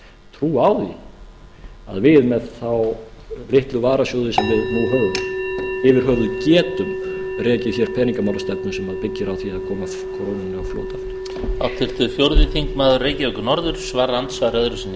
trú á því að við með þá litlu varasjóði sem við nú höfum yfir höfuð getum rekið hér peningamálastefnu sem byggir á því að koma krónunni á flot aftur